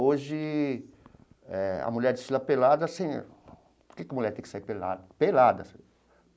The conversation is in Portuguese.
Hoje eh a mulher desfila pelada assim... Por que que mulher tem que sair pelada? Pelada assim.